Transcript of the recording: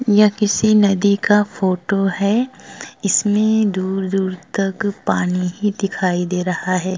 यह किसी नदी का फोटो है इसमें दूर-दूर तक पानी ही दिखाई दे रहा है।